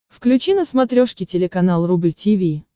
включи на смотрешке телеканал рубль ти ви